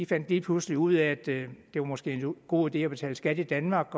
fandt lige pludselig ud af at det måske var en god idé at betale skat i danmark